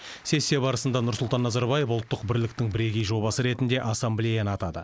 сессия барысында нұрсұлтан назарбаев ұлттық бірліктің бірегей жобасы ретінде ассамблеяны атады